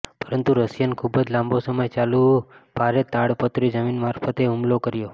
પરંતુ રશિયન ખૂબ જ લાંબો સમય ચાલવું ભારે તાડપત્રી જમીન મારફતે હુમલો કર્યો